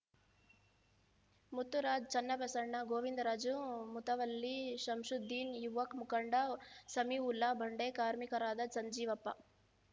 ಮುತ್ತುರಾಜ್ ಚನ್ನಬಸವಣ್ಣ ಗೋವಿಂದರಾಜು ಮುತವಲ್ಲಿ ಶಂಷುದ್ದೀನ್ ಯುವ ಮುಖಂಡ ಸಮೀಉಲ್ಲಾ ಬಂಡೆ ಕಾರ್ಮಿಕರಾದ ಸಂಜೀವಪ್ಪ